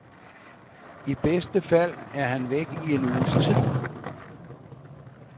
I bedste fald er han væk i en uges tid.